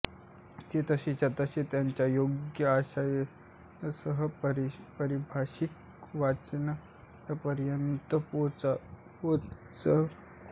ते तसेच्या तसे त्याच्या योग्य आशयासह परभाषिक वाचकांपर्यंत पोहोचवणारे